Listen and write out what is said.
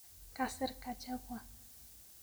Kasir kachebwa